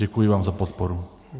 Děkuji vám za podporu.